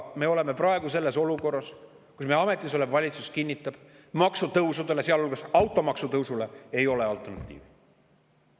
Me oleme praegu olukorras, kus ametis olev valitsus kinnitab, et maksutõusudele, sealhulgas automaksule, ei ole alternatiivi.